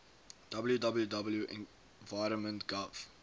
www environment gov